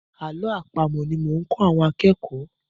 Àlọ́ àpamọ̀ ni mo ń kọ́ àwọn akẹ́kọ̀ọ́.